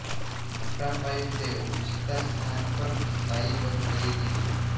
મોટા પાયે તેઓ વિસ્તાર સ્થાન પર સ્થાયી બંધ કરી દીધું